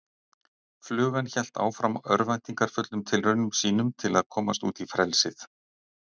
Flugan hélt áfram örvæntingarfullum tilraunum sínum til að komast út í frelsið.